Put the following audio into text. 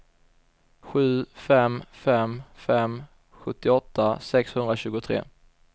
sju fem fem fem sjuttioåtta sexhundratjugotre